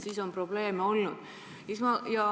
Siis on probleeme olnud.